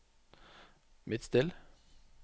Midtstill